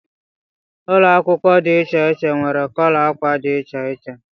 Ụlọ akwụkwọ dị iche iche nwere kọlọ ákwà dị iche iche